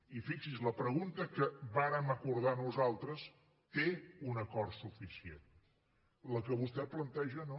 i fixi s’hi la pregunta que vàrem acordar nosaltres té un acord suficient la que vostè planteja no